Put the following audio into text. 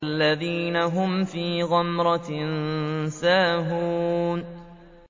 الَّذِينَ هُمْ فِي غَمْرَةٍ سَاهُونَ